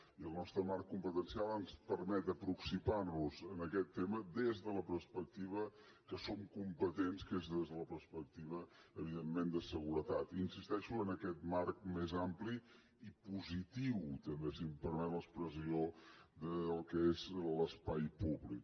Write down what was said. i el nostre marc competencial ens permet aproximar nos a aquest tema des de la perspectiva que som competents que és des de la perspectiva evidentment de seguretat i hi insisteixo en aquest marc més ampli i positiu també si em permet l’expressió del que és l’espai públic